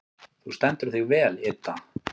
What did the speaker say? Þú stendur þig vel, Idda!